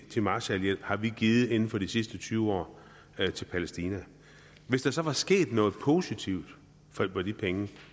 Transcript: marshallhjælp har vi givet inden for de sidste tyve år til palæstina hvis der så var sket noget positivt for de penge